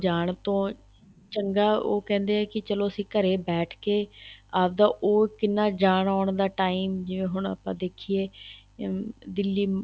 ਜਾਣ ਤੋਂ ਚੰਗਾ ਉਹ ਕਹਿੰਦੇ ਹੈ ਕੀ ਚਲੋਂ ਅਸੀਂ ਘਰੇ ਬੈਠ ਕੇ ਆਪ ਦਾ ਉਹ ਕਿੰਨਾ ਜਾਣ ਆਉਣ ਦਾ time ਜਿਵੇਂ ਹੁਣ ਆਪਾਂ ਦੇਖੀਏ ਹਮ ਦਿੱਲੀ